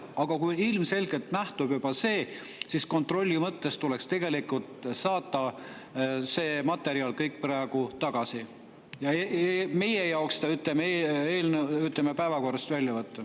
Aga kui ilmselgelt nähtub juba, siis kontrolli mõttes tuleks tegelikult kogu see materjal praegu saata tagasi ja meie jaoks, ütleme, eelnõu päevakorrast välja võtta.